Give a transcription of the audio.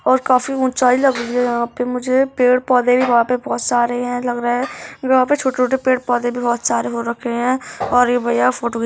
और काफी ऊंचाई लग रही है यहाँ पे मुझे। पेड़-पौधे भी वहाँ पे बहुत सारे हैं लग रहा है। वहाँ पे छोटे-छोटे पेड़-पौधे भी बहुत सारे हो रखे हैं और ये भैया फोटो घी --